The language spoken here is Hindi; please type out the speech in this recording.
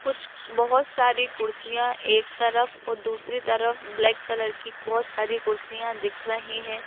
कुछ बहुत सारी कुर्सियाँ एक तरफ और दूसरी तरफ ब्लैक कलर की बहुत सारी कुर्सियाँ दिख रही हैं।